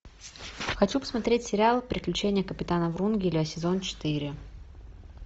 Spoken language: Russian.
хочу посмотреть сериал приключения капитана врунгеля сезон четыре